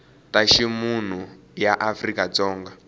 ta ximunhu ya afrika dzonga